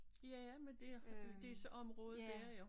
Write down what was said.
Ja ja men det er det så området dér ja